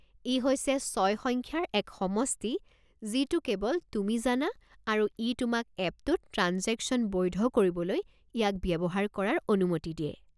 ই হৈছে ছয় সংখ্যাৰ এক সমষ্টি যিটো কেৱল তুমি জানা আৰু ই তোমাক এপটোত ট্ৰাঞ্জেকশ্যন বৈধ কৰিবলৈ ইয়াক ব্যৱহাৰ কৰাৰ অনুমতি দিয়ে।